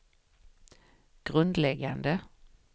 grundläggande